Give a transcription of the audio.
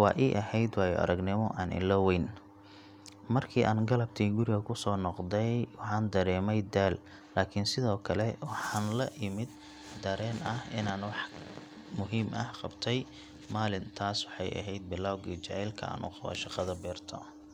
waa ii ahayd waayo-aragnimo aan illoweyn. Markii aan galabtii guriga kusoo noqday waxaan dareemayay daal, laakiin sidoo kale waxaan la imid dareen ah inaan wax muhiim ah qabtay. Maalintaas waxay ahayd bilowgii jacaylka aan u qabo shaqada beerta.